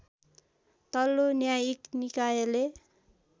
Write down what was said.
तल्लो न्यायिक निकायले